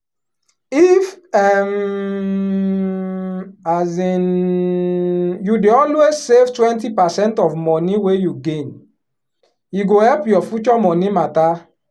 if um um you dey always save twenty percent of money wey you gain e go help your future money matter.